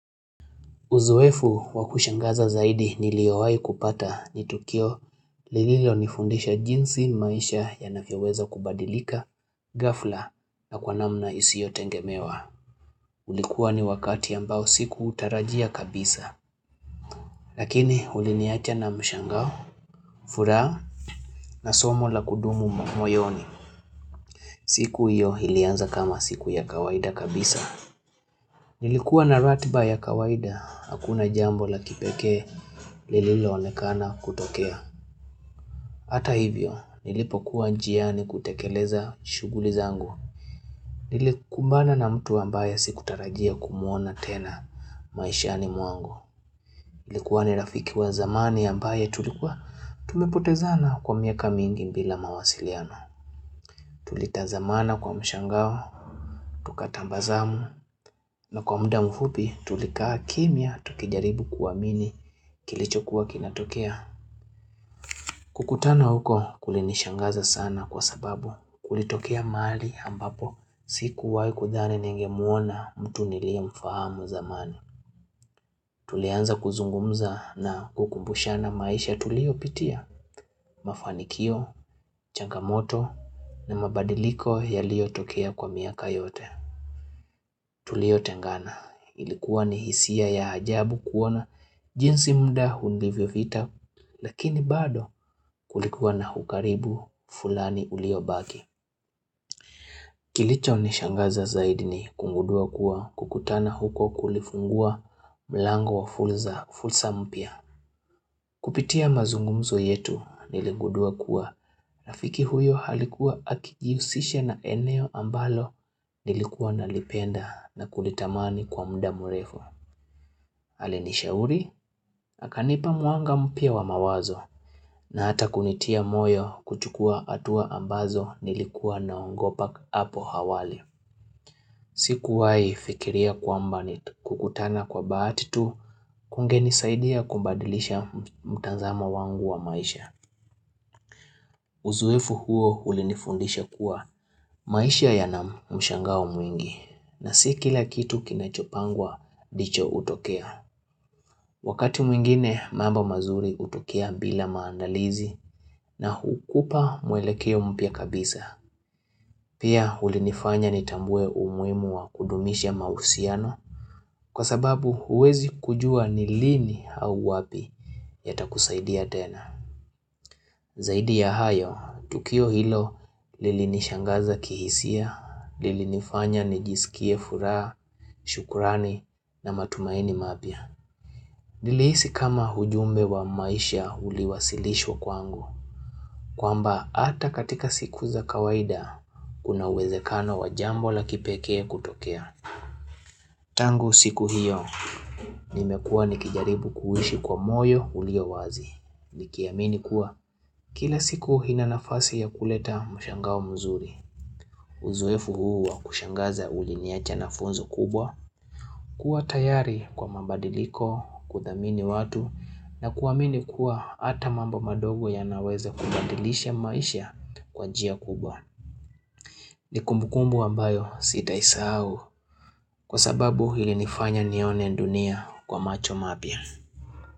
Uzoefu wakushangaza zaidi niliowahi kupata ni Tukio lililo nifundisha jinsi maisha yanavyoweza kubadilika ghafla na kwa namna isiyo tegemewa. Ulikuwa ni wakati ambao sikuutarajia kabisa. Lakini uliniacha na mshangao, furaha na somo la kudumu moyoni. Siku hiyo ilianza kama siku ya kawaida kabisa. Nilikuwa na ratiba ya kawaida, hakuna jambo la kipekee lililo onekana kutokea. Hata hivyo, nilipokua njiani kutekeleza shughuli zangu. Nilikubana na mtu ambaye sikutarajia kumuona tena maishani mwangu ilikuwa ni rafiki wa zamani ambaye tulikuwa tumepotezana kwa miaka mingi bila mawasiliano. Tulitazamana kwa mshangao, tukatabasamu na kwa muda mfupi tulikaa kimya tukijaribu kuamini kilichokuwa kinatokea. Kukutana huko kulinishangaza sana kwa sababu kulitokea mahali ambapo sikuwai kudhani ningemuona mtu niliye mfahamu zamani. Tulianza kuzungumza na kukumbushana maisha tulio pitia mafanikio, changamoto na mabadiliko yaliyo tokea kwa miaka yote. Tuliotengana ilikuwa ni hisia ya ajabu kuona jinsi mda ulivyopita lakini bado kulikuwa na ukaribu fulani uliobaki. Kilicho ni shangaza zaidi ni kugundua kuwa kukutana huko kulifungua mlango wa fursa mpya. Kupitia mazungumzo yetu niligudua kuwa rafiki huyo alikuwa akijihusisha na eneo ambalo nilikuwa nalipenda na kulitamani kwa mda mrefu. Alinishauri akanipa mwanga mpya wa mawazo na hata kunitia moyo kuchukua hatua ambazo nilikuwa naogopa hapo awali Sikuwai fikiria kwamba kukutana kwa bahati tu kungenisaidia kubadilisha mtazamo wangu wa maisha. Uzoefu huo ulinifundisha kuwa maisha yana mshangao mwingi na si kila kitu kinachopangwa ndicho hutokea. Wakati mwingine mambo mazuri hutokea bila maandalizi na hukupa mwelekeo mpya kabisa. Pia ulinifanya nitambue umuhimu wa kudumisha mahusiano kwa sababu huwezi kujua ni lini au wapi yatakusaidia tena. Zaidi ya hayo, tukio hilo lilinishangaza kihisia, lilinifanya nijisikie furaha, shukrani na matumaini mapya. Nilihisi kama ujumbe wa maisha uliwasilishwa kwangu. Kwamba ata katika siku za kawaida, kuna uwezekano wa jambo la kipekee kutokea. Tangu siku hiyo, nimekua nikijaribu kuishi kwa moyo uliyo wazi. Nikiamini kuwa kila siku ina nafasi ya kuleta mshangao mzuri Uzoefu huo wa kushangaza uliniacha na funzo kubwa kuwa tayari kwa mabadiliko, kuthamini watu na kuamini kuwa ata mambo madogo yanaweza kubadilisha maisha kwa njia kubwa ni kumbukumbu ambayo sitaisahau Kwa sababu ilinifanya nione dunia kwa macho mapya.